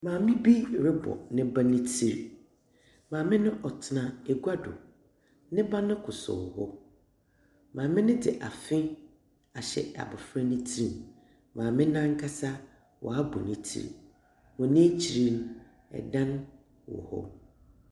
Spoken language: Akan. Maame bi robɔ ne ba ne tsir. Maame no tsena agua do. Ne bano kosow hɔ. Maame no dze afe ahyɛ abofra no tsir mu. Maame no ankasa waabɔ ne tsir. Hɔn ekyir no, dan wɔ hɔ.